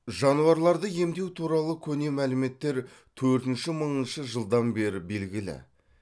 жануарларды емдеу туралы көне мәліметтер төртінші мыңыншы жылдардан бері белгілі